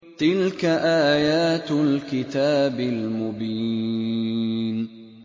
تِلْكَ آيَاتُ الْكِتَابِ الْمُبِينِ